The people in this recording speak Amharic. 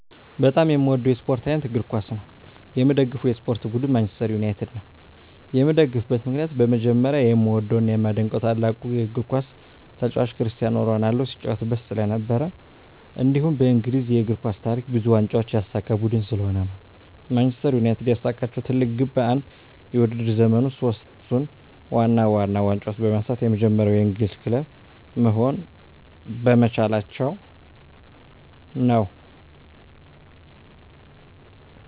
በጣም የምዎደው የስፖርት አይነት እግር ኳስ ነው። የምደግፈው የስፖርት ቡድን ማንችስተር ዩናይትድ ነው። የምደግፍበት ምክንያት በመጀመሪያ የምዎደው እና የማደንቀው ታላቁ የግር ኳስ ተጫዋች ክርስቲያኖ ሮናልዶ ሲጫዎትበት ስለነበር። እንዲሁም በእንግሊዝ የእግር ኳስ ታሪክ ብዙ ዋንጫዎችን ያሳካ ቡድን ስለሆነ ነው። ማንችስተር ዩናይትድ ያሳካችው ትልቁ ግብ በአንድ የውድድር ዘመን ውስጥ ሶስቱን ዋና ዋና ዋንጫዎች በማንሳት የመጀመሪያው የእንግሊዝ ክለብ መሆን በመቻላቸው ነው።